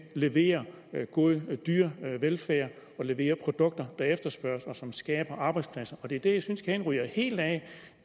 levere god dyrevelfærd og levere produkter der efterspørges og som skaber arbejdspladser det er dér jeg synes kæden ryger helt af